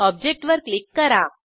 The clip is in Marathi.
ऑब्जेक्ट वर क्लिक करा